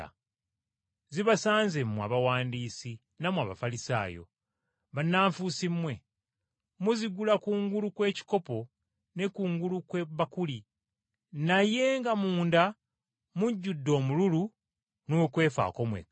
“Zibasanze mmwe Abawandiisi nammwe Abafalisaayo! Bannanfuusi mmwe! Muzigula kungulu kw’ekikopo ne kungulu kw’ebbakuli, naye nga munda mujjudde omululu n’okwefaako mwekka.